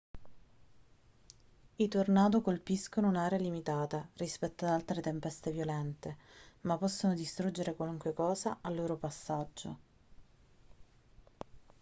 i tornado colpiscono un'area limitata rispetto ad altre tempeste violente ma possono distruggere qualunque cosa al loro passaggio